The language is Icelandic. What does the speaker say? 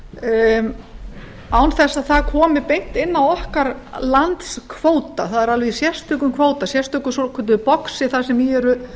án þess að það komi beint inn á okkar landskvóta það er alveg í sérstökum kvóta sérstöku svokölluðu boxi þar sem í eru